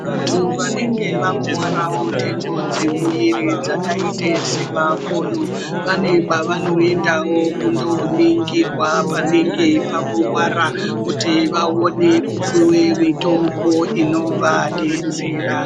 Vantu vanenge vakuwarawo ndengo dzemuviri dzakaite semakodo vane kwavanoendawo kunoningirwa panenge pakuwara kuti vaone puwa mitombo inovadetsera.